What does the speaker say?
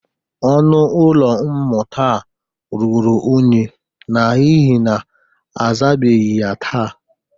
Ọnụ ụlọ mmụta a ruru unyi n'ihe na azabeghi ya taa.